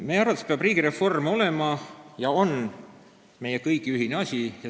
Meie arvates peab riigireform olema ja on meie kõigi ühine asi.